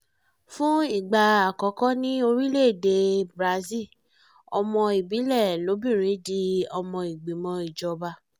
fún ìgbà àkọ́kọ́ ní orílẹ̀-èdèe brazil ọmọ ìbílẹ̀ lobìnrin di ọmọ ìgbìmọ̀ ìjọba